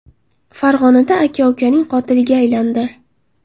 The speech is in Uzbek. Farg‘onada aka ukaning qotiliga aylandi.